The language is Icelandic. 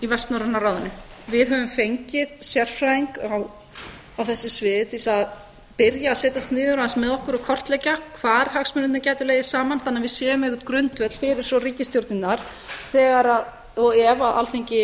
vestnorræna ráðinu við höfum fengið sérfræðing á þessu sviði til þess að byrja að setjast niður aðeins með okkur og kortleggja hvar hagsmunirnir gætu legið saman þannig að við séum með einhvern grundvöll fyrir ríkisstjórnirnar þegar og ef alþingi